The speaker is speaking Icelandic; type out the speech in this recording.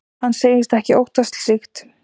Hann segist ekki óttast slíkt.